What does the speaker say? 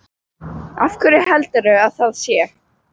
Af hverju heldurðu að það sé?